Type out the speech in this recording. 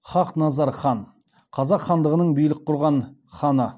хақназар хан қазақ хандығының билік құрған ханы